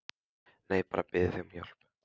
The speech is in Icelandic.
Nei, bara að biðja þig um hjálp.